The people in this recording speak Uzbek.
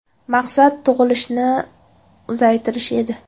Maqsad tug‘ilishni ozaytirish edi.